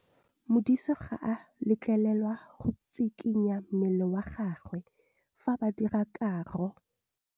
Modise ga a letlelelwa go tshikinya mmele wa gagwe fa ba dira karô.